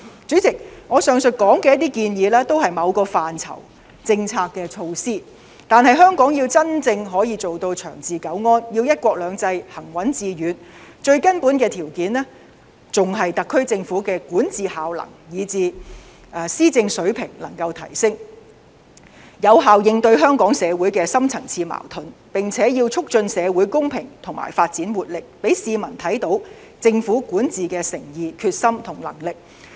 主席，上述建議也是某些範疇的政策措施，但香港要真正可以做到長治久安，要"一國兩制"行穩致遠，最根本的條件還是特區政府能夠提升管治效能，以至施政水平，有效應對香港社會的深層次矛盾，並且要促進社會公平和發展活力，讓市民看到政府管治的誠意、決心和能力。